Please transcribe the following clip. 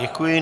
Děkuji.